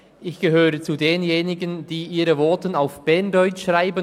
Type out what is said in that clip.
Ich gehöre zu denjenigen, die ihre Voten auf Berndeutsch schreiben.